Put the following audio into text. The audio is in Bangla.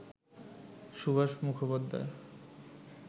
সুভাষ মুখোপাধ্যায়